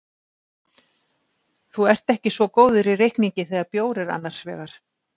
Þú ert ekki svo góður í reikningi þegar bjór er annars vegar.